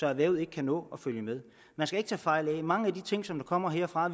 erhvervet ikke kan nå at følge med man skal ikke tage fejl af det mange af de ting som kommer herfra